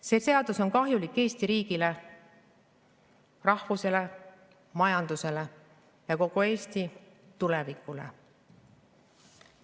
See seadus on kahjulik Eesti riigile, rahvusele, majandusele ja kogu Eesti tulevikule.